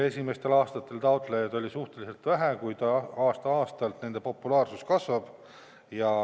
Esimestel aastatel oli taotlejaid küll suhteliselt vähe, kuid aasta-aastalt nende populaarsus kasvab.